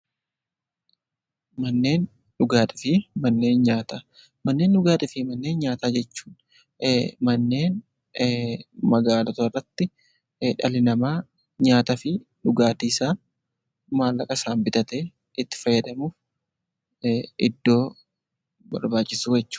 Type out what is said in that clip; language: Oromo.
Manneen dhugaatii fi manneen nyaataa jechuun manneen magaalotarratti dhalli namaa nyaataa fi dhugaatiisaa maallaqa isaan bitatee itti fayyadamu iddoo barbaachisoo jechuudha.